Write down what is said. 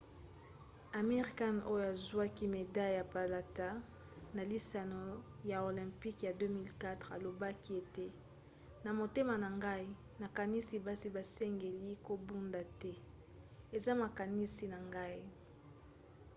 amir khan oyo azwaki medaille ya palata na lisano ya olympique ya 2004 alobaki ete na motema na ngai nakanisi basi basengeli kobunda te. eza makanisi na ngai.